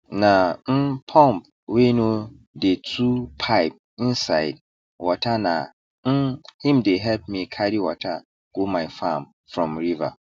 na um pump wey no dey too pipe insids waterna um him dey help me carry water go my farm from river